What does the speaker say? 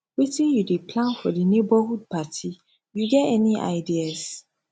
wetin you dey plan for di neighborhood party you get any ideas